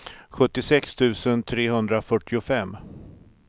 sjuttiosex tusen trehundrafyrtiofem